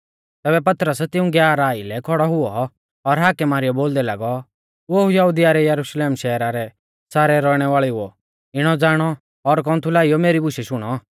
तैबै पतरस तिऊं ग्याराह आइलै खौड़ौ हुऔ और हाकै मारीयौ बोलदै लागौ ओ यहुदिया और यरुशलेम शहरा रै सारै रौइणै वाल़ेउओ इणौ ज़ाणौ और कौन्थु लाइयौ मेरी बुशै शुणौ